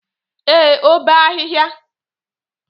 Ee, o bee ahịhịa.